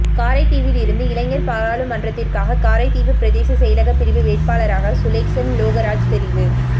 காரைதீவிலிருந்து இளைஞர் பாராளுமன்றத்திற்காக காரைதீவு பிரதேச செயலக பிரிவு வேட்பாளராக சுலேச்ஷன் லோகராஜ் தெரிவு